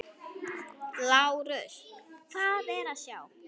LÁRUS: Hvað er að sjá?